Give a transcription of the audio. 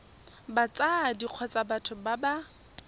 batsadi kgotsa batho ba ba